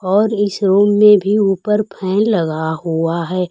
और इस रूम में भी ऊपर फैन लगा हुआ हैं।